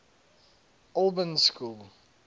albans school